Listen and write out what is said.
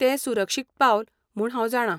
तें सुरक्षीत पावल म्हूण हांव जाणा.